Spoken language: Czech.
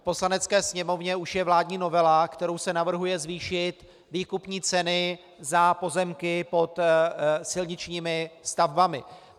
V Poslanecké sněmovně už je vládní novela, kterou se navrhuje zvýšit výkupní ceny za pozemky pod silničními stavbami.